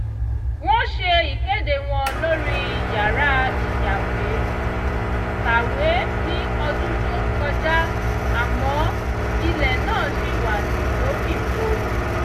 wọ́n ṣe ìkéde wọn lórí yàrá ìyáwèé-kàwé ní ọdún tó kọjá àmọ́ ilẹ̀ náà ṣì wà lófìfo